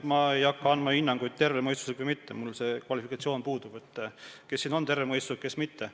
Ma ei hakka andma hinnanguid, kas see on tervemõistuslik või mitte, mul see kvalifikatsioon puudub, et kes siin on terve mõistusega, kes mitte.